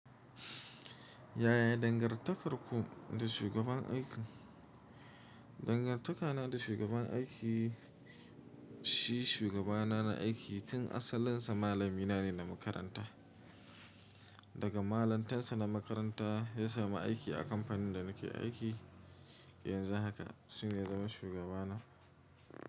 Yaya dangartakarku da shugaban aiki? Dangantakana da shugaban aiki, shi shugabana na aiki, tun asalinsa malamina ne na makaranta. Daga malantarsa na makaranta ya samu aiki a kamfanin da nake aiki yanzu haka. Shi ne ya zama shugabana.